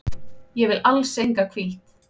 Ég vil alls enga hvíld.